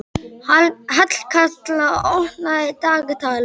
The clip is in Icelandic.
Hallkatla, opnaðu dagatalið mitt.